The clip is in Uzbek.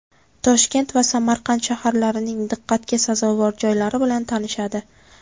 Toshkent va Samarqand shaharlarining diqqatga sazovor joylari bilan tanishadi.